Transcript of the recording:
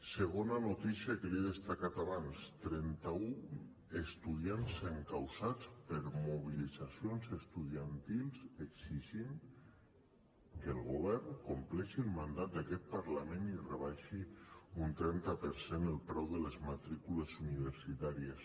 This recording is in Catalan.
segona notícia que li he destacat abans trenta un estudiants encausats per mobilitzacions estudiantils per exigir que el govern compleixi el mandat d’aquest parlament i rebaixi un trenta per cent el preu de les matrícules universitàries